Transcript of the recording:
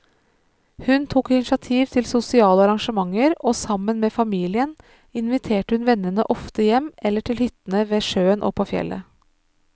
Hun tok initiativ til sosiale arrangementer, og sammen med familien inviterte hun vennene ofte hjem eller til hyttene ved sjøen og på fjellet.